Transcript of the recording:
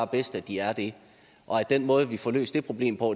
bedst at de er det og at den måde vi får løst det problem på